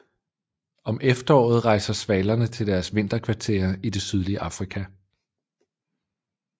Om efteråret rejser svalerne til deres vinterkvarterer i det sydlige Afrika